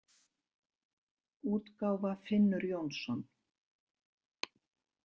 útgáfa Finnur Jónsson.